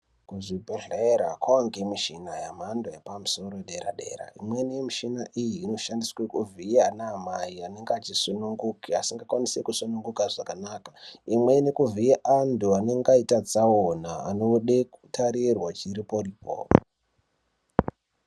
Kuzvibhedhlera kwavanikwa mishina yemhando yepamusoro yedera-dera. Imweni yemishina iyi inoshandiswa kuvhiya ana amai anenge achisununguke asingakwanise kusununguka zvakanaka. Imweni kuvhiye antu anonge aite tsaona anode kutarirwa chiripo-ripocho.